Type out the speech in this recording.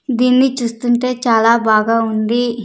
దీన్ని చూస్తుంటే చాలా బాగా ఉంది.